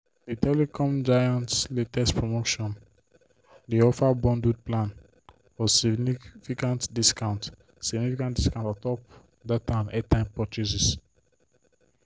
the telecom giant's latest promotion dey offer bundled plans for significant discount significant discount untop data and airtime purchases.